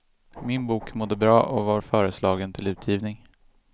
Min bok mådde bra och var föreslagen till utgivning.